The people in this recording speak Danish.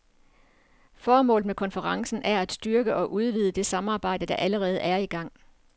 Formålet med konferencen er at styrke og udvide det samarbejde, der allerede er i gang.